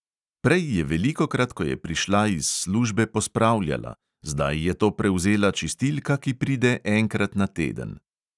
Prej je velikokrat, ko je prišla iz službe, pospravljala, zdaj je to prevzela čistilka, ki pride enkrat na teden.